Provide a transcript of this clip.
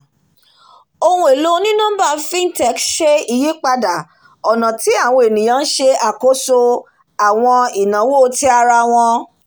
ohun èlò onínọ́mbà fintech ṣe ìyípadà ọ̀nà tí àwọn ènìyàn ń ṣe ṣàkóso àwọn ináwó ti ara wọn